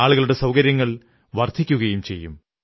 ആളുകളുടെ സൌകര്യങ്ങൾ വർധിക്കുകയും ചെയ്യും